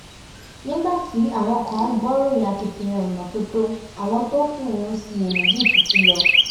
nígbà tí àwọn kan gbóríyìn akitiyan ìmọ́tótó àwọn tó kù ń ṣiyèméjì títí lọ